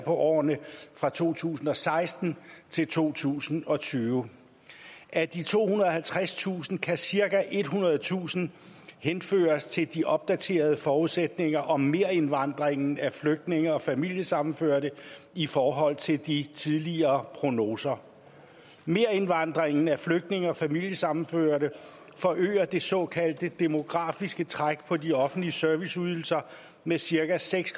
årene fra to tusind og seksten til to tusind og tyve af de tohundrede og halvtredstusind kan cirka ethundredetusind henføres til de opdaterede forudsætninger om merindvandringen af flygtninge og familiesammenførte i forhold til de tidligere prognoser merindvandringen af flygtninge og familiesammenførte forøger det såkaldte demografiske træk på de offentlige serviceydelser med cirka seks